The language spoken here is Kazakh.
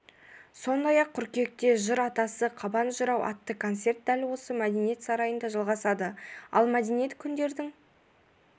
сондай-ақ қыркүйекте жыр атасы қабан жырау атты концерт дәл осы мәдениет сарайында жалғасады ал мәдениет күндердің